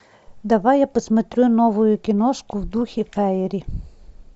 давай я посмотрю новую киношку в духе фаери